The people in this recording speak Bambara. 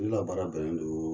Ne la baara bɛnnen do